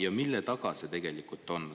Ja mille taga see tegelikult on?